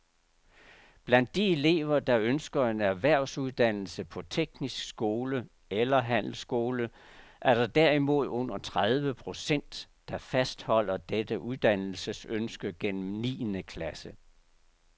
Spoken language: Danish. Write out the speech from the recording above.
Blandt de elever, der ønsker en erhvervsuddannelse på teknisk skole eller handelsskole, er der derimod under tredive procent, der fastholder dette uddannelsesønske gennem niende klasse.